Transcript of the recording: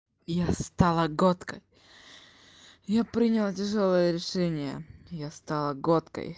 я стала готкой я приняла тяжёлое решение я стала готкой